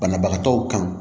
Banabagatɔw kan